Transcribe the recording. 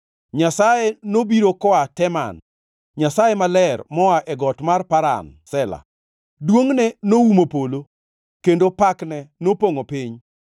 Nyasaye nobiro koa Teman, Nyasaye Maler moa e got mar Paran. Sela + 3:3 Sela tiend wachni ok ongʼere. Duongʼne noumo polo, kendo pakne nopongʼo piny.